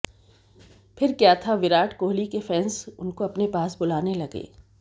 फिर क्या था विराट कोहली के फैंस उनको अपने पास बुलाने लगे